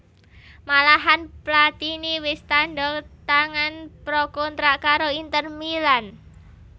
Malahan Platini wis tandha tangan pra kontrak karo Inter Milan